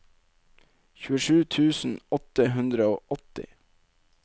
tjuesju tusen åtte hundre og åtti